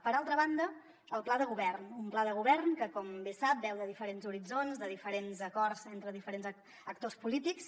per altra banda el pla de govern un pla de govern que com bé sap beu de diferents horitzons de diferents acords entre diferents actors polítics